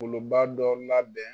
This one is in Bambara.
ba dɔ labɛn